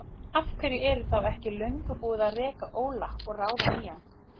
Af hverju er þá ekki löngu búið að reka Óla og ráða nýjan?